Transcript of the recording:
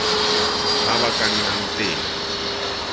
ba ba ka nnang teng